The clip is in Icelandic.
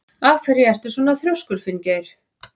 Af hverju ertu svona þrjóskur, Finngeir?